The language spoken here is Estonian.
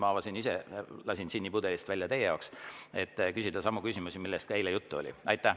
Ma siin ise lasin džinni pudelist välja teie jaoks, et küsida samu küsimusi, millest ka eile juttu oli.